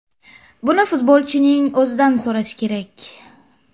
Buni futbolchining o‘zidan so‘rash kerak.